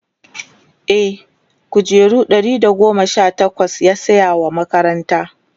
e kujeru Ɗari da goma Sha takwas yasaya wa makaranta